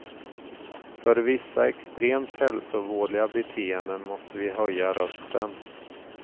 För vissa extremt hälsovådliga beteenden måste vi höja rösten.